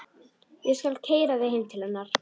Ég skal keyra þig heim til hennar.